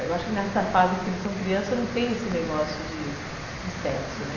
Eu acho que nessa fase que eles são crianças, eu não tenho esse negócio de sexo, né?